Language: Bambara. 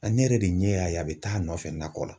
A ne yɛrɛ de ɲɛ y'a ye a bɛ taa nɔfɛ nakɔ la.